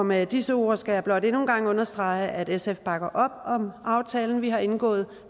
med disse ord skal jeg blot endnu en gang understrege at sf bakker op om aftalen vi har indgået